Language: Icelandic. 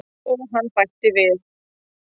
Og hann bætti við.